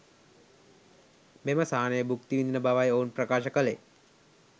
මෙම සහනය භුක්ති විඳින බවයි ඔවුන් ප්‍රකාශ කළේ